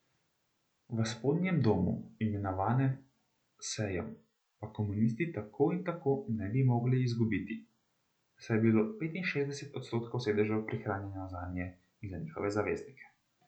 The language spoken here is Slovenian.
V spodnjem domu, imenovanem sejm, pa komunisti tako in tako ne bi mogli izgubiti, saj je bilo petinšestdeset odstotkov sedežev prihranjeno zanje in za njihove zaveznike.